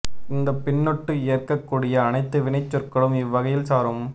இந்த பின்னொட்டு ஏற்கக் கூடிய அனைத்து வினைச் சொற்களும் இவ்வகையில் சாரும்